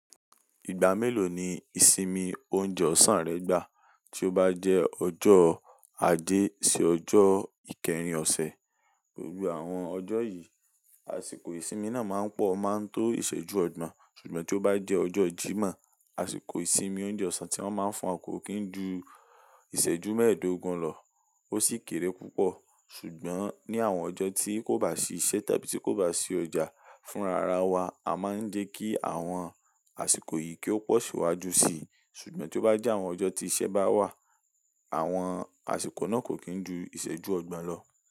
Ìgbà mélòó ni ìsinmi oúnjẹ ọ̀sán rẹ gbà? Tí ó bá jẹ́ ọjọ́ aje sí ọjọ́ ìkeyìn ọ̀sẹ̀, gbogbo àwọn ọjọ́ yìí, àsìkò ìsinmi náà máa ń pọ̀ máa ń tó ìṣẹ́jú ọgbọ̀n. Ṣùgbọ́n tí ó bá jẹ́ ọjọ́ Jímọ̀, àsìkò ìsinmi oúnjẹ ọ̀sán tí wọ́n máa ń fún wa kò kí ń ju ìṣẹ́jú mẹ́ẹ̀ẹ́dógún lọ. Ó sì kéré púpọ̀. Ṣùgbọ́n ní àwọn ọjọ́ tí kò bá sí iṣẹ́ tàbí tí kò bá sí ọjà fúnra ra wa, a máa ń jẹ́ kí àwọn àsìkò yìí kí ó pọ̀ síwájú si. Ṣùgbọ́n tí ó bá jẹ́ àwọn ọjọ́ tí iṣẹ́ bá wà, àwọn àsìkò náà kò kí ń ju ìṣẹ́jú ọgbọ̀n lọ.